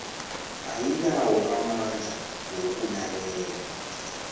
ayinawo amandla wokulalela